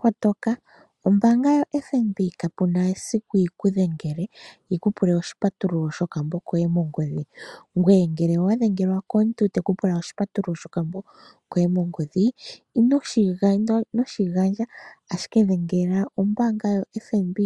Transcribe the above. Kotoka. Ombaanga yoFNB kapu na esiku yi ku dhengele, yi ku pule oshipatululo shokambo koye mongodhi. Ngoye ngele owa dhengelwa komuntu te ku pula oshipatululo shokambo koye mongodhi, ino shi gandja, ashike dhengela ombaanga yoFNB